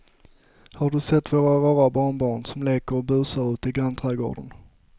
Har du sett våra rara barnbarn som leker och busar ute i grannträdgården!